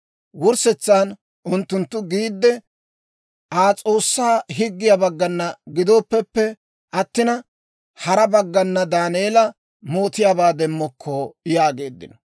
Wurssetsan unttunttu giidde, «Aa S'oossaa higgiyaa baggana gidooppeppe attina, hara baggana Daaneela mootiyaabaa demmokko» yaageeddino.